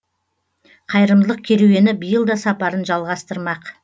қайырымдылық керуені биыл да сапарын жалғастырмақ